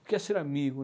O que é ser amigo?